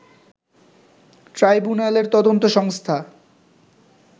ট্রাইব্যুনালের তদন্ত সংস্থা